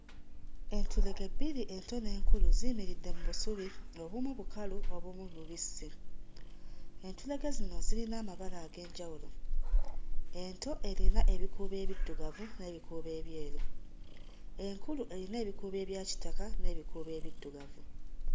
Entulege bbiri ento n'enkulu ziyimiridde mu busubi, obumu bukalu obumu bubisi, entulege zino zirina amabala ag'enjawulo, ento erina ebikuubo ebiddugavu n'ebikuubo ebyeru, enkulu eyina ebikuubo ebya kitaka n'ebikuubo ebiddugavu.